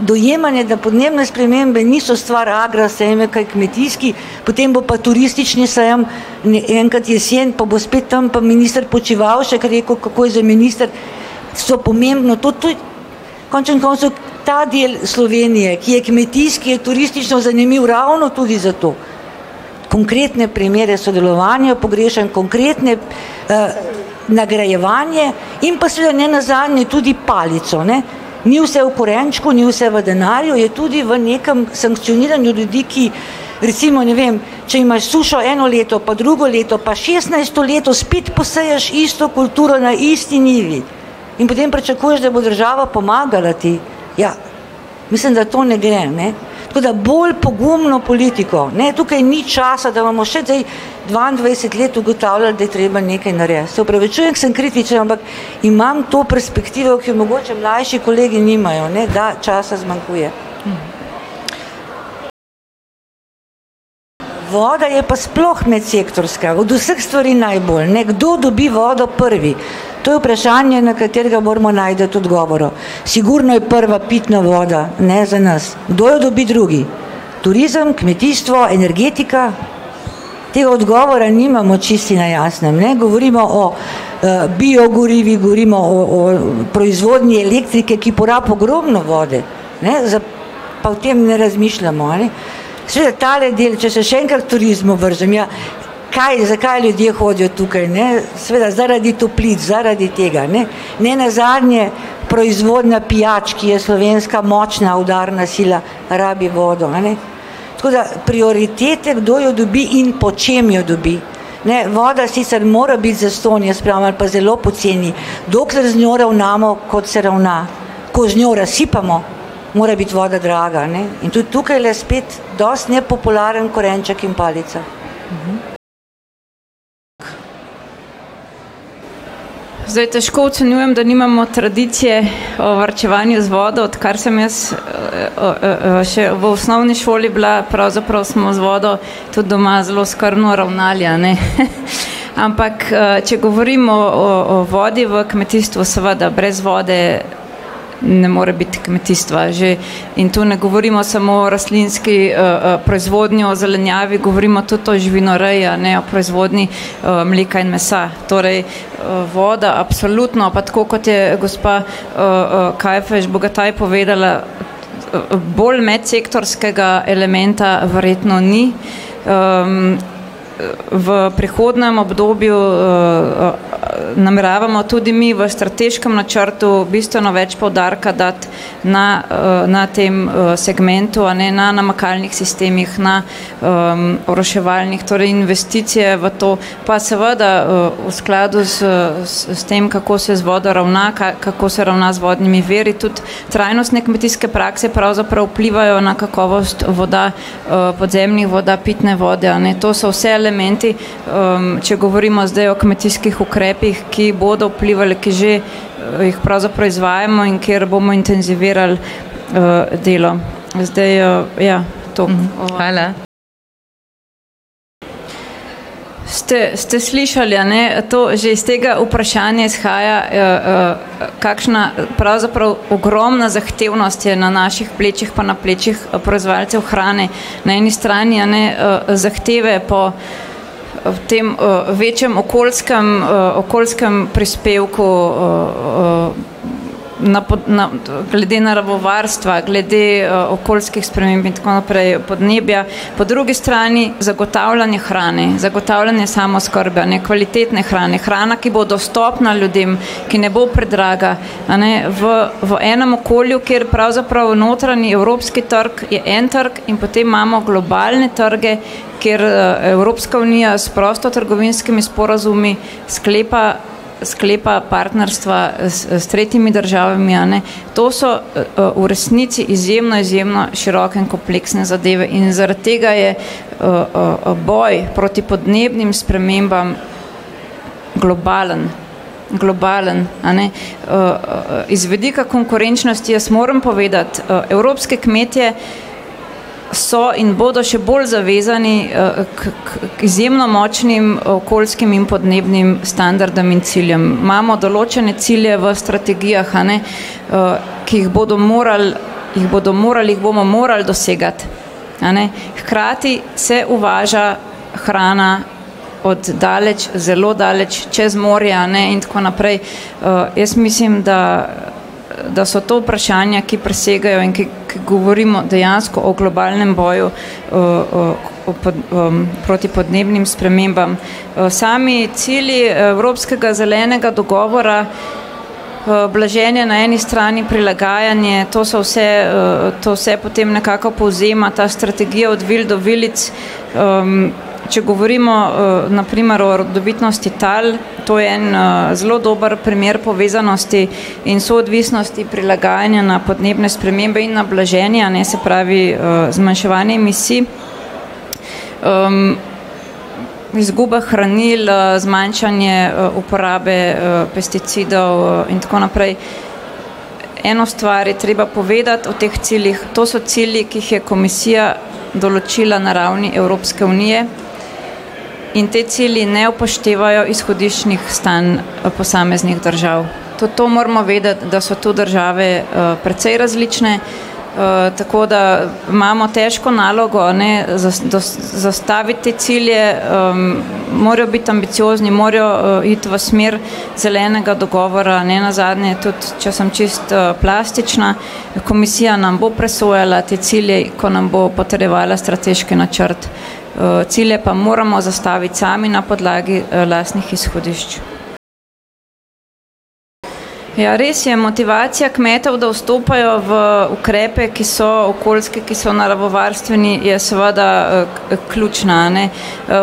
dojemanje, da podnebne spremembe niso stvar Agra sejma, ki je kmetijski, potem bo pa turistični sejem enkrat jeseni, pa bo spet tam pa minister Počivalšek rekel, kako je zdaj minister? So pomembno to, to je končen koncev ta del Slovenije, ki je kmetijski, ki je turistično zanimiv ravno tudi zato. Konkretne primere sodelovanja pogrešam, konkretne, nagrajevanje in pa seveda nenazadnje tudi palico, ne. Ni vse v korenčku, ni vse v denarju, je tudi v nekem sankcioniranju ljudi, ki recimo, ne vem, če imaš sušo eno leto pa drugo leto pa šestnajsto leto spet poseješ isto kulturo na isti njivi. In potem pričakuješ, da bo država pomagala ti? Ja, mislim, da to ne gre, a ne. Tako da bolj pogumno politiko, ne. Tukaj ni časa, da imamo še zdaj dvaindvajset let ugotavljali, da je treba nekaj narediti. Se opravičujem, ke sem kritična, ampak imam to perspektivo, ki je mogoče mlajši kolegi nimajo, ne, da časa zmanjkuje. Voda je pa sploh medsektorska, od vseh stvari najbolj. Nekdo dobi vodo prvi. To je vprašanje, na katerega moramo najti odgovore. Sigurno je prva pitna voda, ne, za nas. Kdo jo dobi drugi? Turizem, kmetijstvo, energetika, te odgovore nimamo čisto si na jasnem, ne, govorimo o, biogorivih, govorimo o, o proizvodnji elektrike, ki porabi ogromno vode, ne. pa o tem ne razmišljamo, a ne. Seveda, tale del, če se še enkrat ke turizmu vržem, ja, kaj, zakaj ljudje hodijo tukaj, ne? Seveda zaradi toplic, zaradi tega, ne. Nenazadnje proizvodnja pijač, ki je slovenska močna udarna sila, rabi vodo, a ne. Tako da prioritete, kdo jo dobi in po čem jo dobi, ne. Voda sicer mora biti zastonj, jaz pravim ali pa zelo poceni. Dokler z njo ravnamo, kot se ravna. Ko z njo razsipamo, mora biti voda draga, a ne. In tudi tukajle spet dosti nepopularen korenček in palica. Zdaj težko ocenjujem, da nimamo tradicije, varčevanja z vodo, odkar sem jaz, še v osnovni šoli bila, pravzaprav smo z vodo tudi doma zelo skrbno ravnali, a ne, ampak, če govorimo o, o vodi v kmetijstvu, seveda, brez vode ne more biti kmetijstva. Že, in tu ne govorimo samo o rastlinski, proizvodnji o zelenjavi, govorimo tudi o živinoreji, a ne, proizvodnji, mleka in mesa torej, voda absolutno pa tako, kot je gospa, Kajfež Bogataj povedala, bolj medsektorskega elementa verjetno ni. v prihodnjem obdobju, nameravamo tudi mi v strateškem načrtu bistveno več poudarka dati na, na tem, segmentu, a ne, na namakalnih sistemih, na, oroševalnik torej investicija v to pa seveda, v skladu z, s tem, kako se z vodo ravna, kaj, kako se ravna z vodnimi viri tudi trajnostne kmetijske prakse pravzaprav vplivajo na kakovost voda, podzemnih voda, pitne vode, a ne, to so vse elementi, če govorimo zdaj o kmetijskih ukrepih, ki bodo vplivali, ki že, jih pravzaprav izvajamo in kjer bomo intenzivirali, delo zdaj, ja. To. Ste, ste slišali, a ne, to že s tega vprašanja izhaja, kakšna pravzaprav ogromna zahtevnost je na naših plečih pa na plečih proizvajalcev hrane na eni strani, a ne, zahteve po, v tem, večjem okoljskem, okoljskem prispevku, na na, glede naravovarstva, glede, okoljskih sprememb in tako naprej, podnebja, po drugi strani zagotavljanje hrane, zagotavljanje samooskrbe, a ne, kvalitete hrane, hrana, ki bo dostopna ljudem, ki ne bo predraga, a ne, v, v enem okolju, kjer pravzaprav notranji, evropski trg je en trg, in potem imamo globalne trge, kjer, Evropska unija s prostotrgovinskimi sporazumi sklepa, sklepa partnerstva, s tretjimi državami, a ne, to so, v resnici izjemno, izjemno široke in kompleksne zadeve in zaradi tega je, boj proti podnebnim spremembam globalen. Globalen, a ne. iz vidika konkurenčnosti, jaz moram povedati, evropski kmetje so in bodo še bolj zavezani, k, k, k izjemno močnim okoljskim in podnebnim standardom in ciljem. Imamo določene cilje v strategijah, a ne, ki jih bodo morali, jih bodo morali, jih bomo morali dosegati, a ne. Hkrati se uvaža hrana od daleč zelo daleč, čez morje, a ne, in tako naprej. jaz mislim, da, da so to vprašanja, ki presegajo in ki govorimo dejansko o globalnem boju, o proti podnebnim spremembam. sami cilji, Evropskega zelenega dogovora, blaženje na eni strani, prilagajanje, to so vse, potem nekako povzema ta strategija od vil do vilic, če govorimo, na primer o rodovitnosti tal, to je en, zelo dober primer povezanosti in soodvisnosti prilagajanja na podnebne spremembe in na blaženje, a ne, se pravi, zmanjševanje emisij, izguba hranil, zmanjšanje uporabe, pesticidov, in tako naprej. Eno stvar je treba povedati o teh ciljih. To so cilji, ki jih je komisija določila na ravni Evropske unije in ti cilji ne upoštevajo izhodiščnih stanj posameznih držav. Tudi to moramo vedeti, da so tu države, precej različne, tako da imamo težko nalogo, a ne, zastaviti te cilje, morajo biti ambiciozni, morajo, iti v smer zelenega dogovora, nenazadnje tudi, če sem čisto, plastična, komisija nam bo presojala te cilje, ki nam bo potrjevala strateški načrt. cilje pa moramo nastaviti sami na podlagi, lastnih izhodišč. Ja, res je, motivacija kmetov, da vstopajo v ukrepe, ki so okoljski, ki so naravovarstveni, je seveda, ključna, a ne.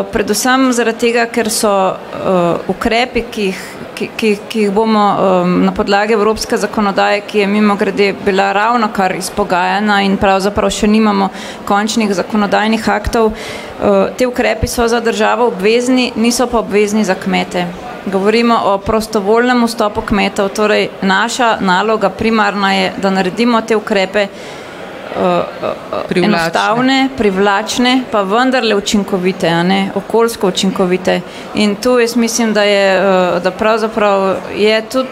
predvsem zaradi tega, ker so, ukrepi, ki jih, ki, ki, ki jih, ki jih bomo, na podlagi evropske zakonodaje, ki je, mimogrede, bila ravnokar izpogajana in pravzaprav še nimamo končnih zakonodajnih aktov, ti ukrepi so za državo obvezni, niso pa obvezni za kmete. Govorimo o prostovoljnem vstopu kmetov, torej naša naloga primarna je, da naredimo te ukrepe, enostavne, privlačne pa vendarle učinkovite, ne, okoljsko učinkovite. In to jaz mislim, da je, da pravzaprav je tudi,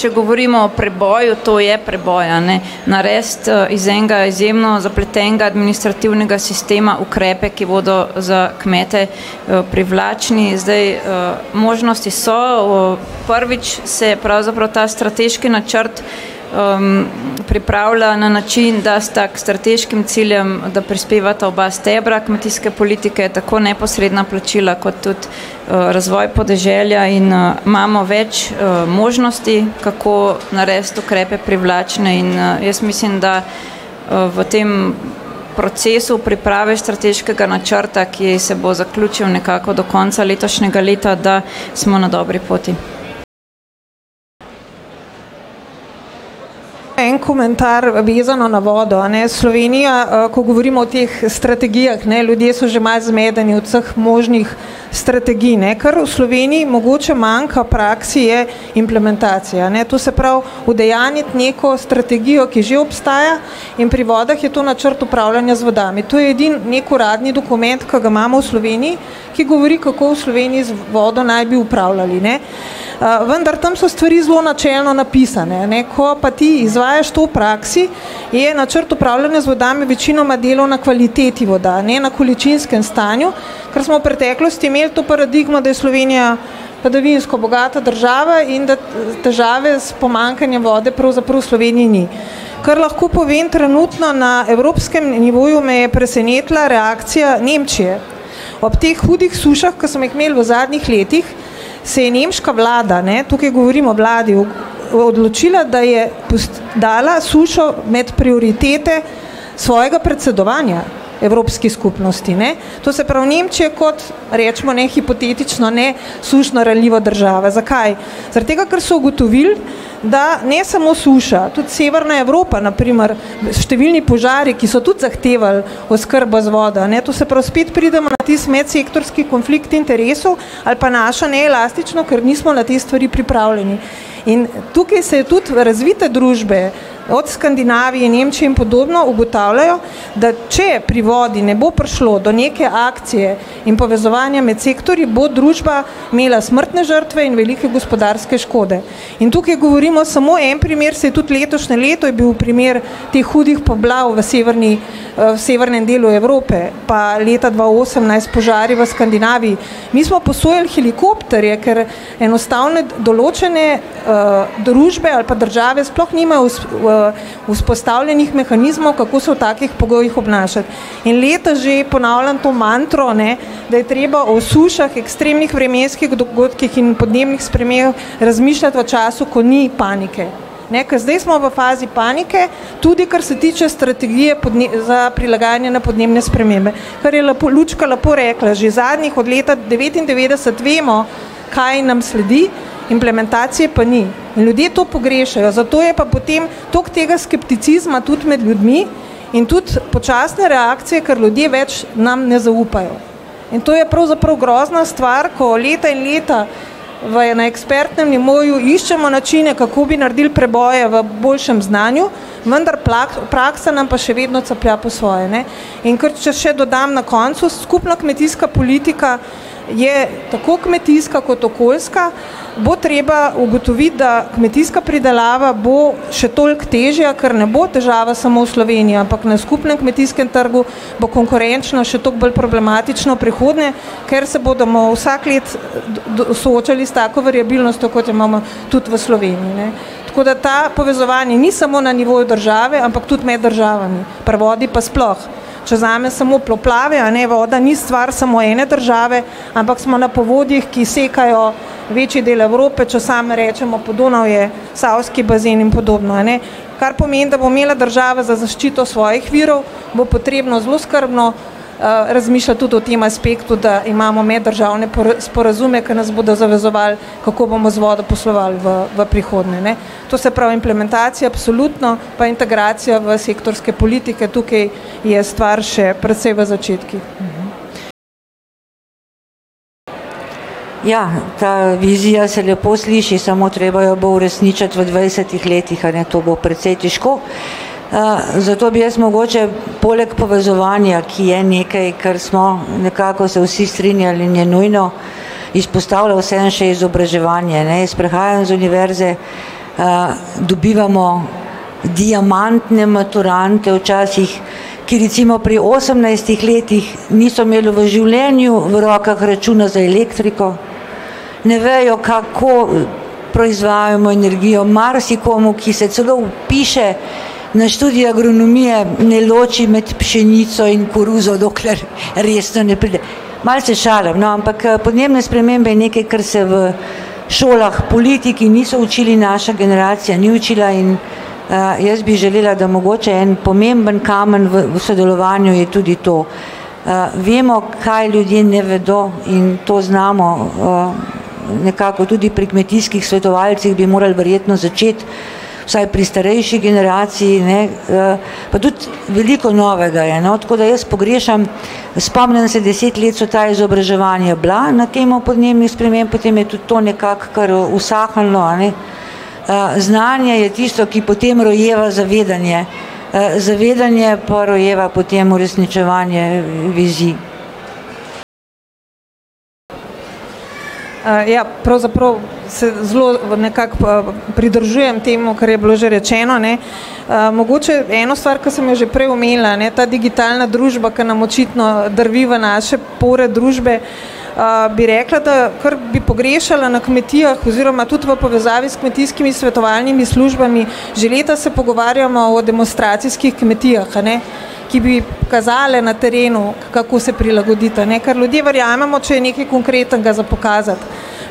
če govorimo o preboju, to je preboj, a ne. Narediti, iz enega izjemno zapletenega administrativnega sistema ukrepe, ki bodo za kmete, privlačni, zdaj, možnosti so, prvič se pravzaprav ta strateški načrt, pripravlja na način, da sta k strateškim ciljem, da prispevata oba stebra kmetijske politike, tako neposredna plačila kot tudi, razvoj podeželja in, imamo več, možnosti, kako narediti ukrepe privlačne in, jaz mislim, da, v tem procesu priprave strateškega načrta, ki se bo zaključil nekako do konca letošnjega leta, da smo na dobri poti. En komentar, vezano na vodo, a ne. Slovenija, ko govorimo o teh strategijah, ne, ljudje so že malo zmedeni od vseh možnih strategij, ne, kar v Sloveniji mogoče manjka v praksi, je implementacija, a ne. To se pravi udejanjiti neko strategijo, ki že obstaja. In pri vodah je to načrt upravljanja z vodami. To je edini neki uradni dokument, ki ga imamo v Sloveniji, ki govori, kako v Sloveniji z vodo naj bi upravljali, ne. vendar tam so stvari zelo načelno napisane, a ne. Ko pa ti izvajaš to v praksi je načrt upravljanja z vodami večinoma delo na kvaliteti voda, a ne, na količinskem stanju, ker smo v preteklosti imeli to paradigmo, da je Slovenija padavinsko bogata država in da težave s pomanjkanjem vode pravzaprav v Sloveniji ni. Kar lahko povem trenutno, na evropskem nivoju me je presenetila reakcija Nemčije. Ob teh hudih sušah, ki smo jih imeli v zadnjih letih, se je nemška vlada, ne, tukaj govorim o vladi, odločila, da je dala sušo med prioritete svojega predsedovanja Evropski skupnosti, ne. To se pravi Nemčija kot recimo, ne, hipotetično, ne sušno ranljiva država. Zakaj? Zaradi tega, ker so ugotovili, da ne samo suša, tudi Severna Evropa, na primer številni požari, ki so tudi zahtevali oskrbo z vodo, a ne, to se pravi spet pridemo na tisti medsektorski konflikt interesov, ali pa naša neelastičnost, ker nismo na te stvari pripravljeni. In tukaj se je tudi v razvite družbe, od Skandinavije, Nemčije in podobno, ugotavljajo, da če pri vodi ne bo prišlo do neke akcije in povezovanja med sektorji, bo družba imela smrtne žrtve in velike gospodarske škode. In tukaj govorimo samo en primer, saj tudi letošnje leto je bil primer teh hudih poplav v Severni, severnem delu Evrope, pa leta dva osemnajst požari v Skandinaviji, mi smo posojali helikopterje, ker, enostavno določene, družbe ali pa države sploh nimajo vzpostavljenih mehanizmov, kako se v takih pogojih obnašati. In leto že ponavljam to mantro, a ne, da je treba o sušah, ekstremnih vremenskih dogodkih in podnebnih v času, ko ni panike, ne, ker zdaj smo v fazi panike, tudi kar se tiče strategije za prilagajanje na podnebne spremembe. Ker je lepo Lučka lepo rekla, že zadnjih od leta devetindevetdeset vemo, kaj nam sledi, implementacije pa ni. Ljudje to pogrešajo, zato je pa potem tudi toliko tega skepticizma tudi med ljudmi in tudi počasna reakcija, ker ljudje več nam ne zaupajo. In to je pravzaprav grozna stvar, ko leta in leta v, na ekspertnem nivoju iščemo načine, kako bi naredili preboje v boljšem znanju, vendar praksa nam pa še vedno caplja po svoje, ne. In ker, če še dodam na koncu, skupna kmetijska politika je tako kmetijska kot okoljska. Bo treba ugotoviti, da kmetijska pridelava bo še toliko težja, ker ne bo težava samo v Sloveniji, ampak na skupnem kmetijskem trgu bo konkurenčno še toliko bolj problematično v prihodnje, ker se bodo vsako leto do soočali s tako variabilnostjo, kot jo imamo tudi v Sloveniji, ne. Tako da to povezovanje ni samo na nivoju države, ampak tudi med državami. Pri vodi pa sploh. Če vzamem samo poplave, a ne, voda ni stvar samo ene države, ampak smo na povodjih, ki sekajo večji del Evrope, če samo rečemo Podonavje, Savski bazen in podobno, a ne. Kar pomeni, da bo imela država za zaščito svojih virov, bo potrebno zelo skrbno, razmišljati tudi o tem aspektu, da imamo meddržavne sporazume, ki nas bodo zavezovali, kako bomo z vodo poslovali v, v prihodnje, ne. To se pravi, implementacija absolutno pa integracija v sektorske politike tukaj je stvar še precej v začetkih. Ja, ta vizija se lepo sliši, samo treba jo bo uresničiti v dvajsetih letih, a ne, to bo precej težko. zato bi jaz mogoče poleg povezovanja, ki je nekaj, kar smo nekako se vsi strinjali, in je nujno, izpostavila vseeno še izobraževanje, ne. Jaz prihajam iz univerze, dobivamo diamantne maturante, včasih, ker recimo pri osemnajstih letih niso imeli v življenju v rokah računa za elektriko. Ne vejo, kako proizvajamo energijo. Marsikomu, ki se celo vpiše na študij agronomije, ne loči med pšenico in koruzo, dokler resno ne pride. Malce šale, no, ampak podnebne spremembe je nekaj, kar se v šolah politiki niso učili, naša generacija ni učila in, jaz bi želela, da mogoče en pomemben kamen v sodelovanju je tudi to, vemo, kaj ljudje ne vedo, in to znamo, nekako tudi pri kmetijskih svetovalcih bi mogli mogoče začeti, vsaj pri starejši generaciji, ne, pa tudi veliko novega je, tako da jaz pogrešam, spomnim se deset let so ta izobraževanja bila na temo podnebnih sprememb, potem je tudi to nekako kar usahnilo, ne. znanje je tisto, ki potem rojeva zavedanje. zavedanje pa rojeva potem uresničevanje vizij. ja pravzaprav se zelo v nekako pridržujem temu, kar je bilo že rečeno, ne. mogoče eno stvar, ke si jo že prej omenila, a ne, ta digitalna družba, ke nam očitno drvi v naše pore družbe, bi rekla, da kar bi pogrešala na kmetijah, oziroma tudi v povezavi s kmetijskimi svetovalnimi službami, že leta se pogovarjamo o demonstracijskih kmetijah, a ne, ki bi kazale na terenu, kako se prilagoditi, a ne, ker ljudje verjamemo, če je nekaj konkretnega za pokazati,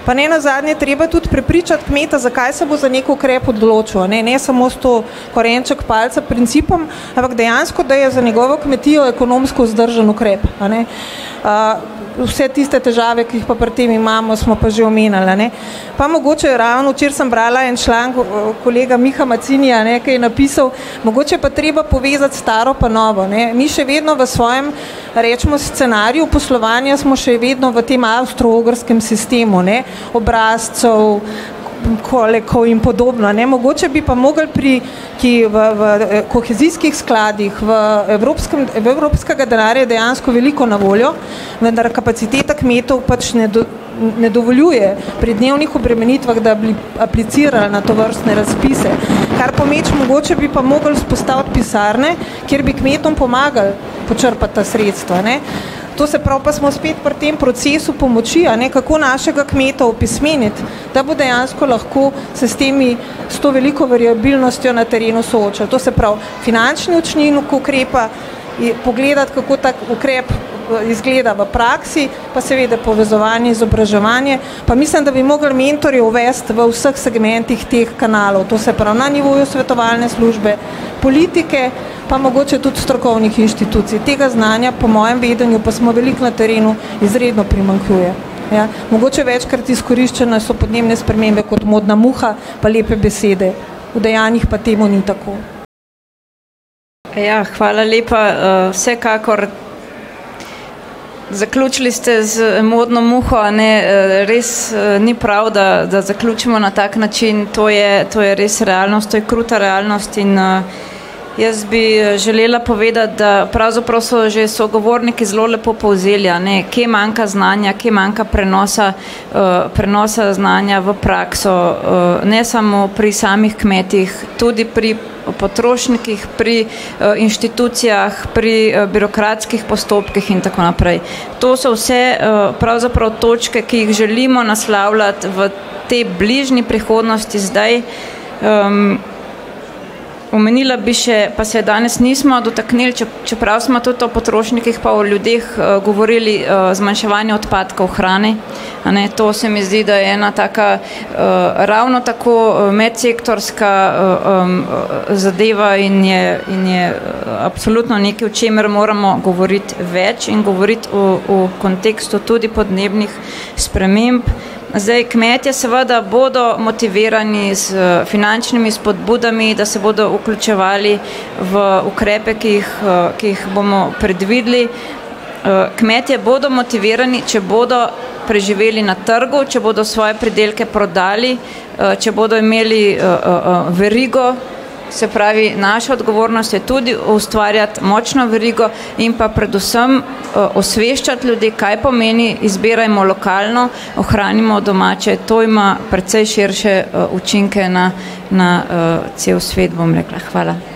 pa nenazadnje treba tudi prepričati kmeta, zakaj se bo za neki ukrep odločil, a ne, samo s tem korenček palica principom, ampak dejansko, da je za njegovo kmetijo ekonomsko vzdržen ukrep. vse tiste težave, ki jih pri tem imamo, smo pa že omenili, a ne. Pa mogoče ravno včeraj sem brala en članek o kolega Miha Mazzinija, a ne, ki je napisal, mogoče je pa treba povezati staro pa novo, ne, mi še vedno v svojem recimo scenariju poslovanja smo še vedno v tem avstroogrskem sistemu, ne. Obrazcev, kolekov in podobno, ne, mogoče bi pa mogli pri ki v, v kohezijskih skladih v evropskem, v evropskega denarja dejansko veliko na voljo, vendar kapaciteta kmetov pač ne dovoljuje pri dnevnih obremenitvah, da bi aplicirali na tovrstne razpise, kar pomeč mogoče bi pa morali vzpostaviti pisarne, kjer bi kmetom pomagal počrpati ta sredstva, a ne. To se pravi, pa smo spet pri tem procesu pomoči, a ne, kako našega kmeta opismeniti, da bo dejansko lahko se s temi, s to veliko variabilnostjo na terenu soočal, to se pravi finančni ukrepa, je pogledati, kako tak ukrep, izgleda v praksi pa seveda povezovanje, izobraževanje pa mislim, da bi mogli mentorje uvesti v vseh segmentih teh kanalov, to se pravi na nivoju svetovalne službe, politike, pa mogoče tudi strokovnih inštitucij, tega znanja po mojem vedenju, pa smo veliko na terenu, izredno primanjkuje. Mogoče večkrat izkoriščena so podnebne spremembe kot modna muha pa lepe besede. V dejanjih pa temu ni tako. Ja hvala lepa, vsekakor, zaključili ste z modno muho, a ne, res, ni prav, da, da zaključimo na tak način, to je, to je res realnost to je kruta realnost in, jaz bi, želela povedati, da pravzaprav so že sogovorniki zelo lepo povzeli, a ne, kje manjka znanja, kje manjka prenosa, prenosa znanja v prakso, ne samo pri samih kmetih tudi pri o potrošnikih, pri, inštitucijah, pri, birokratskih postopkih in tako naprej. To se vse, pravzaprav točke, ki jih želimo naslavljati v tej bližnji prihodnosti, zdaj, omenila bi še, pa se danes nismo dotaknili, če, če čeprav smo tudi o potrošnikih pa o ljudeh govorili, zmanjševanje odpadkov hrane, a ne, to se mi zdi, da je ena taka, ravno, tako medsektorska, zadeva in je in je absolutno nekaj, o čemer moramo govoriti več in govoriti o, o kontekstu tudi podnebnih sprememb. Zdaj kmetje seveda bodo motivirani s finančnimi spodbudami, da se bodo vključevali v ukrepe, ki jih, ki jih bomo predvideli. kmetje bodo motivirani, če bodo preživeli na trgu, če bodo svoje pridelke prodali, če bodo imeli, verigo. Se pravi naša odgovornost je tudi ustvarjati močno verigo in pa predvsem, osveščati ljudi, kaj pomeni, izbirajmo lokalno, ohranimo domače, to ima precej širše učinke na na, cel svet, bom rekla. Hvala.